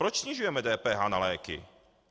Proč snižujeme DPH na léky?